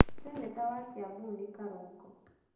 Cenĩta wa Kiambu nĩ Karungo.